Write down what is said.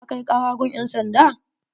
Ka kai kara gun ƴan sanda?